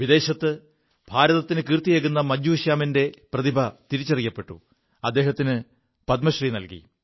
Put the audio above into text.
വിദേശത്ത് ഭാരതത്തിന് കീർത്തിയേകു മജ്ജൂ ശ്യാമിന്റെ പ്രതിഭ തിരിച്ചറിയപ്പെു അദ്ദേഹത്തിന് പദ്മശ്രീ നല്കി